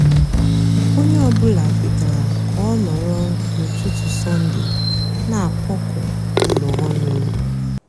ónyé ọ bụlà kwetara kà ọ nọrọ n'útútú sọnde nà-àkpọkọ úló ónụ.